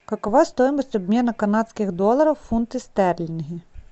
какова стоимость обмена канадских долларов в фунты стерлинги